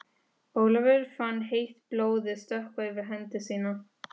Ólafur fann heitt blóðið stökkva yfir hendi sína.